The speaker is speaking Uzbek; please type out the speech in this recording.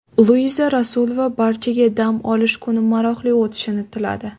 Luiza Rasulova barchaga dam olish kuni maroqli o‘tishini tiladi.